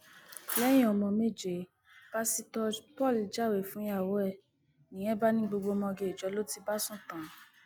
lẹyìn ọmọ méje pásítọ paul jáwèé fúnyàwó ẹ nìyẹn bá ní gbogbo ọmọge ìjọ ló ti bá sùn tán